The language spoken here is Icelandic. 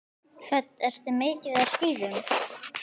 Hödd: Ertu mikið á skíðum?